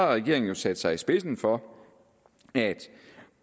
regeringen jo sat sig i spidsen for at